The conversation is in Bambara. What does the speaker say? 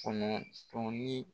Kɔnɔntɔn ni